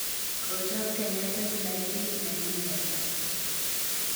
Kochob Kenya setilaitit nenyi ne tai.